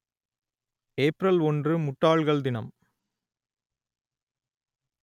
April ஒன்று முட்டாள்கள் தினம்